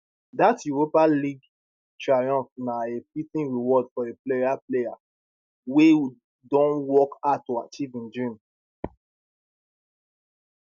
dat europa league triumph na a fitting reward for a player player wey don work hard to achieve im dreams